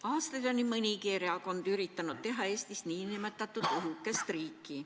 Aastaid on nii mõnigi erakond üritanud teha Eestist nn õhukest riiki.